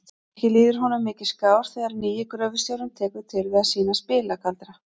Ekki líður honum mikið skár þegar nýi gröfustjórinn tekur til við að sýna spilagaldra.